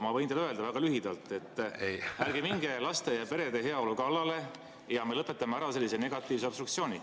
Ma võin teile öelda, väga lühidalt: ärge minge laste ja perede heaolu kallale ja me lõpetame ära sellise negatiivse obstruktsiooni.